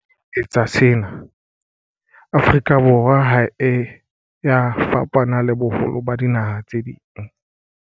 Ka ho etsa sena, Afrika Borwa ha e ya fapana le boholo ba dinaha tse ding.